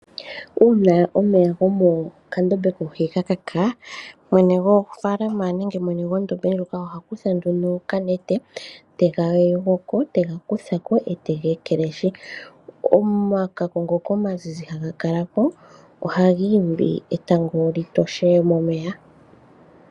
Uuna omeya gomokandombe koohi ga kaka, mwene gwofaalama nenge mwene gwondombe ndjoka oha kutha nduno okanete e te ga kutha ko, e te ga ekelehi. Omakako ngoka omazizi haga kala ko ohaga imbi etango lyi toshe momeya.